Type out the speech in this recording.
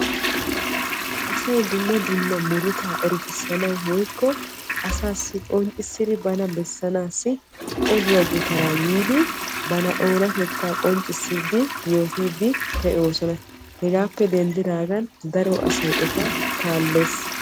Asay dumma dumma murutta erettisanawu oduwa gutara yiiddi banttanna yootosonna. Hegaappe denddagan daro asay etta kaallees.